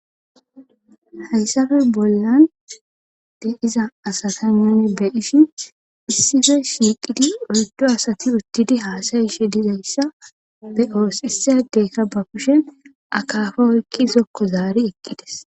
haysafe bollan de iza asasanone be dishi issife shiiqidi ordo asati uttidi haasayishe dizayssa be oos issiyadeekka ba kushe akafa woykki zokko zaari eqqides